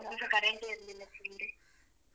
ಆ ಒಂದ್ ದಿವ್ಸ current ಎ ಇರ್ಲಿಲ್ಲ full day.